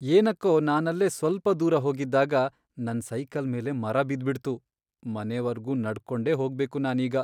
ಏನಕ್ಕೋ ನಾನಲ್ಲೇ ಸ್ವಲ್ಪ ದೂರ ಹೋಗಿದ್ದಾಗ ನನ್ ಸೈಕಲ್ ಮೇಲೆ ಮರ ಬಿದ್ಬಿಡ್ತು, ಮನೆವರ್ಗೂ ನಡ್ಕೊಂಡೇ ಹೋಗ್ಬೇಕು ನಾನೀಗ.